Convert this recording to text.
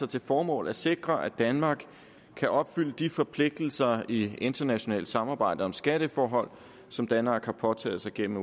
til formål at sikre at danmark kan opfylde de forpligtelser i internationalt samarbejde om skatteforhold som danmark har påtaget sig gennem